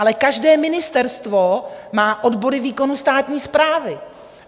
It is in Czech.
Ale každé ministerstvo má odbory výkonu státní správy.